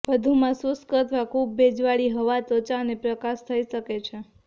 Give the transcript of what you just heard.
વધુમાં શુષ્ક અથવા ખૂબ ભેજવાળી હવા ત્વચા અને પ્રકાશ થઈ શકે છે